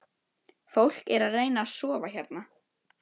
Fólk er að reyna að sofa hérna